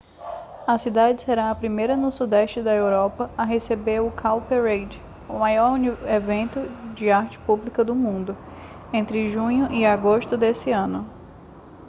a cidade será a primeira no sudeste da europa a receber o cowparade o maior evento de arte pública do mundo entre junho e agosto deste ano